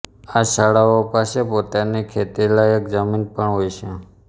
આ શાળાઓ પાસે પોતાની ખેતીલાયક જમીન પણ હોય છે